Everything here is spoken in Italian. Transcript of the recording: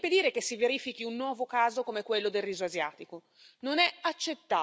Non è accettabile utilizzare i paesi poveri come enormi piantagioni agricole.